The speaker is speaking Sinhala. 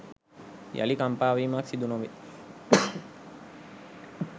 යළි කම්පා වීමක් සිදුනොවේ.